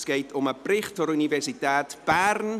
Es geht um den Bericht der Universität Bern.